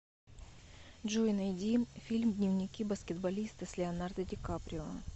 джой найди фильм дневники баскетболиста с леонардо ди каприо